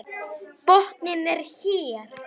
Botninn er hér!